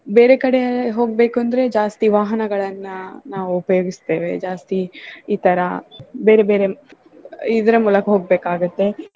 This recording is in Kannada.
ಬೇರೆ ಕಡೆ ಹೋಗ್ಬೆಕು ಅಂದ್ರೆ ಜಾಸ್ತಿ ವಾಹನಗಳನ್ನ ನಾವು ಉಪಯೋಗಿಸ್ತೇವೆ ಜಾಸ್ತಿ ಈ ತರಾ ಬೇರೆ ಬೇರೆ ಇದ್ರ ಮೂಲಕ ಹೋಗ್ಬೇಕಾಗುತ್ತೆ.